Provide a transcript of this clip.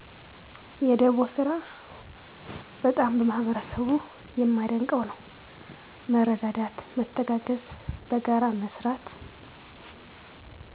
የደቦ ስራ በጣም በህበረሰቡ የመደንቀው ነው መረዳት መተጋገዝ በጋራ መስራት።